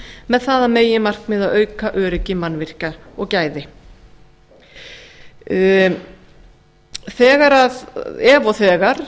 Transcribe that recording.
með það að meginmarkmiði að auka öryggi mannvirkja og gæði ef og þegar